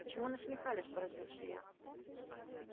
почему насмехались поразился я